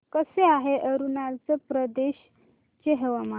कसे आहे अरुणाचल प्रदेश चे हवामान